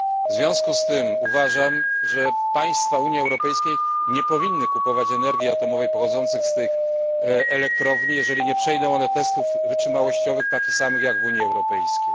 W związku z tym uważam, że państwa Unii Europejskiej nie powinny kupować energii atomowej pochodzącej z tych elektrowni, jeżeli nie przejdą one testów wytrzymałościowych takich samych, jak testy wymagane w Unii Europejskiej.